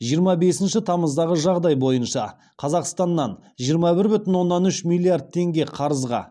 жиырма бесінші тамыздағы жағдай бойынша қазақстаннан жиырма бір бүтін оннан үш миллиард теңге қарызға